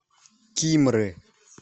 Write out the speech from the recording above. кимры